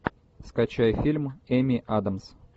скачай фильм эми адамс